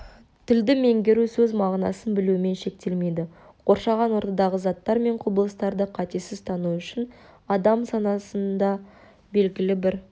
тілді меңгеру сөз мағынасын білумен шектелмейді қоршаған ортадағы заттар мен құбылыстарды қатесіз тану үшін адам санасында белгілі бір